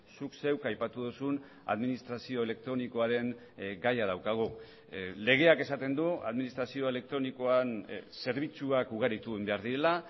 zuk zeuk aipatu duzun administrazio elektronikoaren gaia daukagu legeak esaten du administrazio elektronikoan zerbitzuak ugaritu egin behar direla